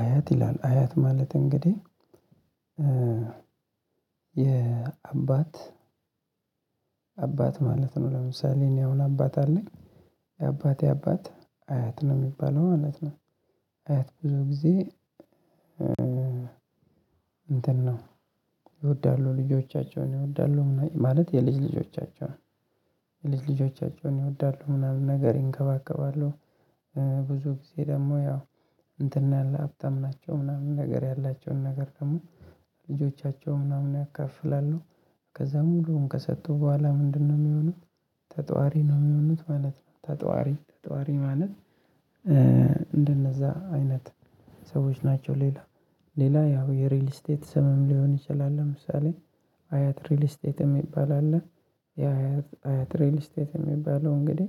አያት ይላል አያት ማለት እንግዲህ የአባት አባት አባት ማለት ነው ለምሳሌ እኔ አሁን አባት አለኝ የአባቴ አባት አያት ነው የሚባለው ማለት ነው። አያት ብዙ ጊዜ እንትን ነው ይወዳሉ ልጆቻቸውን ይወዳሉ ማለት የልጅ ልጆቻቸውን የልጅ ልጆቻቸውን ይወዳሉ ምናምን ነገር ይንከባከባሉ። ብዙ ጊዜ ደግሞ ያው እንትን ያለ ሀብታም ናቸው ምናምን ነገር ያላቸውን ነገር ደግሞ ልጆቻቸው ምናምን ያከፍላሉ። ከዛ ሙሉም ከሰጡ በኋላ ምንድነው የሚሆኑ ተጧሪ ነው የሚሆኑት ማለት ነው። ተጧሪ ተጧሪ ማለት እንደነዛ አይነት ሰዎች ናቸው። ሌላ ሌላ ያው የሪል ስቴት ስምም ሊሆን ይችላል። ለምሳሌ አያት ሪል ስቴት የሚባል አለ። ያ አያት አያት ሪል ስቴት የሚባለው እንግዲህ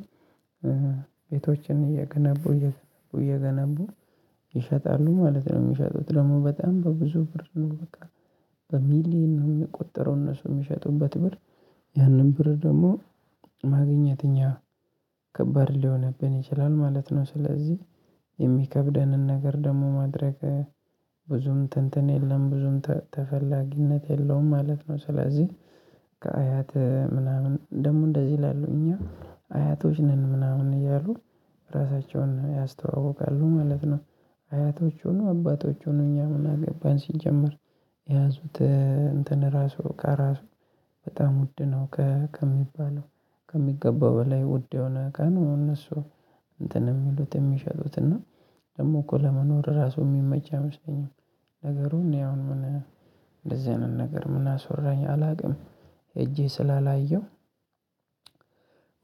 ቤቶችን እየገነቡ እየገነቡ እየገነቡ ይሸጣሉ ማለት ነው። የሚሸጡት ደግሞ በጣም በብዙ ብር ነው በቃ። በሚሊየን ነው ሚቆጠረው እነሱ ሚሸጡበት ብር ያንን ብር ደግሞ ማግኘት እኛ ከባድ ሊሆንብን ይችላል ማለት ነው። ስለዚህ የሚከብደንን ነገር ደግሞ ማድረግ ብዙም ትንትን የለም ብዙም ተፈላጊነት የለውም ማለት ነው። ስለዚህ ከአያት ምናምን ደግሞ እንደዚህ ይላሉ እኛ አያቶች ነን ምናምን እያሉ ራሳቸውን ያስተዋውቃሉ ማለት ነው። አያቶች ይሁኑ አባቶቹ ይሁኑ እኛም ምናአገባን ሲጀመር። የያዙት እንትን ራሱ እቃ ራሱ በጣም ውድ ነው ከሚባለው ከሚገባው በላይ ውድ የሆነ እቃ ነው እነሱ እንትን የሚሉት የሚሸጡት እና ደግሞ እኮ ለመኖር ራሱ የሚመች አይመስለኝም። ነገሩን እኔ አሁን ምን እንደዚህ አይነት ነገር ምን አስወራኝ አላውቅም። ህጄ ስላላየሁ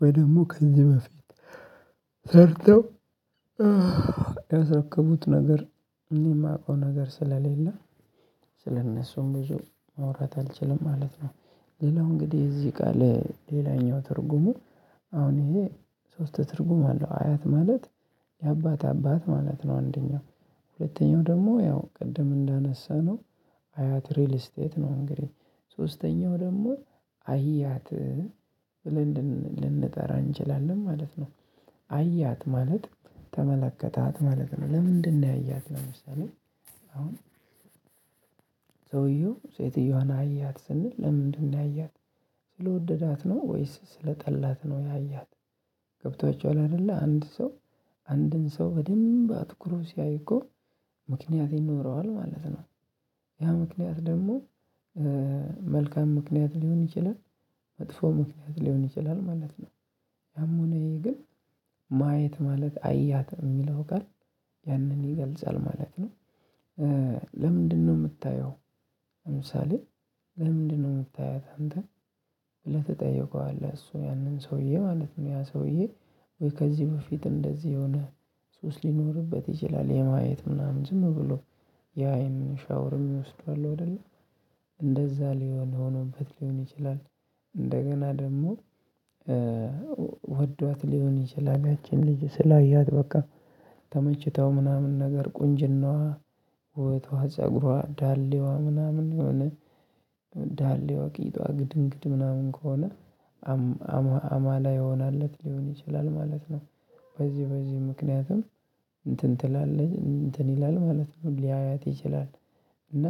ወይ ደግሞ ከዚህ በፊት ሰርተው ያሰከረከቡት ነገር እኔ እማቀው ነገር ስለሌለ ስለእነሱም ብዙ ማውራት አልችልም ማለት ነው። ሌላው እንግዲህ እዚህ ቃል ሌላኛው ትርጉሙ አሁን ይሄ ሶስት ትርጉም አለው አያት ማለት የአባት አባት ማለት ነው። አንደኛው ሁለተኛው ደግሞ ያው ቅድም እንዳነሳነው አያት ሪል ስቴት ነው። እንግዲህ ሶስተኛው ደግሞ አህያት ብለን ልንጠራ እንችላለን ማለት ነው። አያት ማለት ተመለከታት ማለት ነው። ለምንድነው ያያት ለምሳሌ አሁን ሰውየው ሴትየዋን አያት ስንል ለምንድነው ያያት? ስለወደዳት ነው ወይስ ስለጠላት ነው? ያያት ገብቷቸዋል አይደለ አንድ ሰው አንድን ሰው በደንብ አትኩሮ ሲያይ እኮ ምክንያት ይኖረዋል ማለት ነው። ያ ምክንያት ደግሞ መልካም ምክንያት ሊሆን ይችላል። መጥፎ ምክንያት ሊሆን ይችላል ማለት ነው። አሞኔ ግን ማየት ማለት አያት የሚለው ጋር ያንን ይገልጻል ማለት ነው። ለምንድነው ምታየው? ለምሳሌ ለምንድነው ምታያት? አንተ ብለህ ትጠይቀዋለህ እሱ ያንን ሰውዬ ማለት ነው። ያ ሰውዬ ወይ ከዚህ በፊት እንደዚህ የሆነ ሱስ ሊኖርበት ይችላል የማየት ምናምን ዝም ብሎ የአይን ሻወር ሚወስዱ አሉ እንደለ እንደዛ ሊሆን ሆነበት ሊሆን ይችላል። እንደገና ደግሞ ሊሆን ይችላል ያቺን ልጅ ስላያት በቃ ተመችታው ምናምን ነገር ቁንጅናዋ ውበትዋ ፀጉዋ ዳሌዋ ምናምን የሆነ ዳሌዋ ቂጧ ግድግድ ምናምን ከሆነ አማላይ ሆናለት ሊሆን ይችላል ማለት ነው። በዚህ በዚህ ምክንያትም እንትን ትላለች እንትን ይላል ማለት ነው ሊያያት ይችላል። እና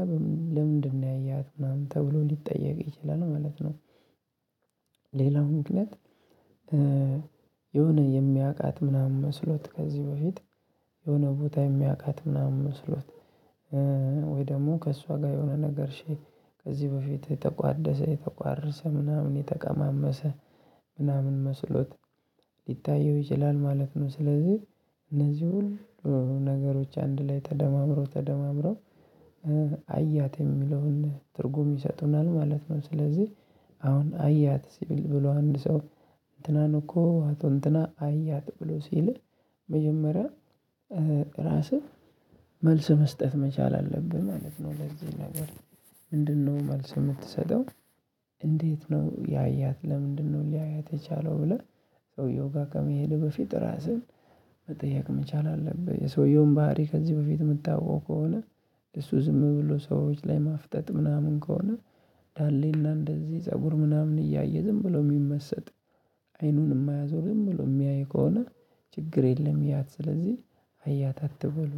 ለምንድነው ያየሃት ምናምን ተብሎ ሊጠየቅ ይችላል ማለት ነው። ሌላው ምክንያት የሆነ የሚያውቃት ምናምን መስሎት ከዚህ በፊት የሆነ ቦታ የሚያውቃት ምናምን መስሎት ወይ ደግሞ ከእሷ ጋር የሆነ ነገር ከዚህ በፊት የተቋደሰ የተቋረሰ ምናምን የተቀማመሰ ምናምን መስሎት ሊታየው ይችላል ማለት ነው። ስለዚህ እነዚህ ሁሉ ነገሮች አንድ ላይ ተደማምሮ ተደማምሮ አያት የሚለውን ትርጉም ይሰጡናል ማለት ነው። ስለዚህ አሁን አያት ሲል ብሎ አንድ ሰው እንትና እኮ አቶ እንትና አያት ብሎ ሲልህ መጀመሪያ ራስህ መልስ መስጠት መቻል አለብህ ማለት ነው። ለዚህ ነገር ምንድነው መልስ የምትሰጠው? እንዴት ነው ያያት ለምንድነው ሊያያት የቻለው ብለህ ሰውየውጋ ከመሄድ በፊት ራስህን መጠየቅ መቻል አለብህ። የሰውየውን ባህሪ ከዚህ በፊት የምታውቀው ከሆነ እሱ ዝም ብሎ ሰዎች ላይ ማፍጠጥ ምናምን ከሆነ ዳሌና እንደዚህ ፀጉር ምናምን እያየ ዝም ብሎ የሚመሰጥ አይኑን እማያዞርም ዝም ብሎ የሚያይ ከሆነ ችግር የለም። ይያት ስለዚህ አያት አትበሉ